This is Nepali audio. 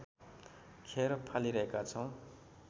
खेर फालिरहेका छौँ